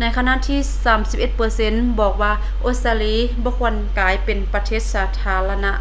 ໃນຂະນະທີ່ 31 ເປີເຊັນບອກວ່າອົດສະຕາລີບໍ່ຄວນກາຍເປັນປະເທດສາທາລະນະ